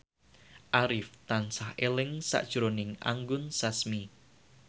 Arif tansah eling sakjroning Anggun Sasmi